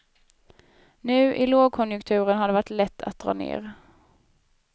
Nu i långkonjunkturen har det varit lätt att dra ner.